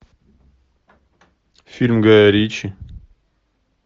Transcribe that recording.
фильм гая ричи